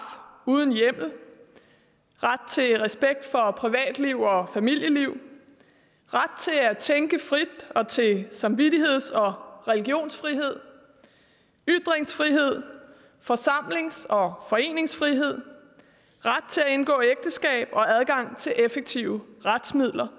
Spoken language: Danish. uden hjemmel ret til respekt for privatliv og familieliv ret til at tænke frit og til samvittigheds og religionsfrihed ytringsfrihed forsamlings og foreningsfrihed ret til at indgå ægteskab og adgang til effektive retsmidler